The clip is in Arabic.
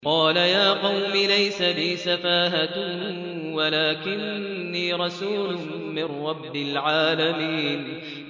قَالَ يَا قَوْمِ لَيْسَ بِي سَفَاهَةٌ وَلَٰكِنِّي رَسُولٌ مِّن رَّبِّ الْعَالَمِينَ